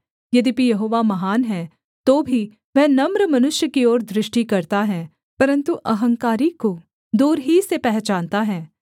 यद्यपि यहोवा महान है तो भी वह नम्र मनुष्य की ओर दृष्टि करता है परन्तु अहंकारी को दूर ही से पहचानता है